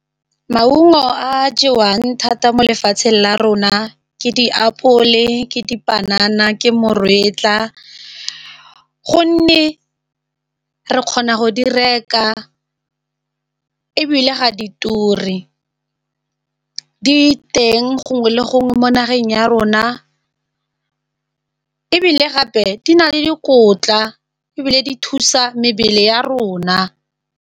Maungo a a jewang thata mo lefatsheng la rona ke diapole, ke dipanana ke moretlwa gonne re kgona go di reka ebile ga di turi di teng gongwe le gongwe mo nageng ya rona ebile gape di na le dikotla ebile di thusa mebele ya rona.